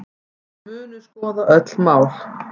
Munu skoða öll mál